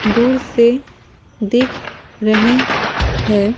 दूर से दिख रहे हैं ।